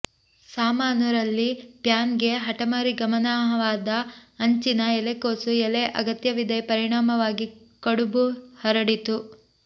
ಸಾಮಾನು ರಲ್ಲಿ ಪ್ಯಾನ್ ಗೆ ಹಠಮಾರಿ ಗಹನವಾದ ಅಂಚಿನ ಎಲೆಕೋಸು ಎಲೆ ಅಗತ್ಯವಿದೆ ಪರಿಣಾಮವಾಗಿ ಕಡುಬು ಹರಡಿತು